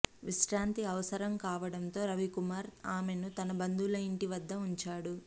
విశ్రాంతి అవసరం కావడంతో రవికుమార్ ఆమెను తన బంధువుల ఇంటి వద్ద ఉంచాడు